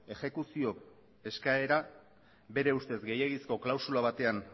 exekuzio eskaera bere ustez gehiegizko klausula batean